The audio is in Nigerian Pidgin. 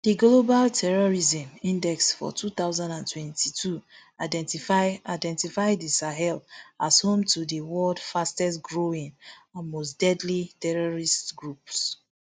di global terrorism index for two thousand and twenty-two identify identify di sahel as home to di world fastest growing and mostdeadly terrorist groups